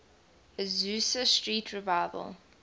azusa street revival